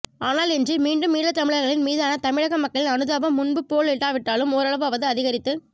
ஆனால் இன்று மீண்டும் ஈழத்தமிழர்களின் மீதான தமிழக மக்களின் அனுதாபம் முன்பு போலில்லாவிட்டாலும் ஓரளவாவது அதிகரித்துக்